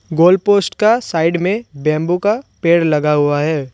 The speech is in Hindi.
गोल्ड पोस्ट का साइड में बम्बू का पेड़ लगा हुआ है।